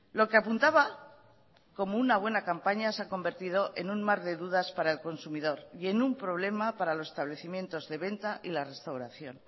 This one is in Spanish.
lo que apuntaba como una buena campaña se ha convertido en un mar de dudas para el consumidor y en un problema para los establecimientos de venta y la restauración